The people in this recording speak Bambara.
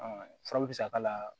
Ɔ fura bɛ se k'a la